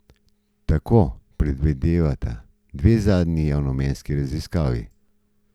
Tako predvidevata dve zadnji javnomnenjski raziskavi.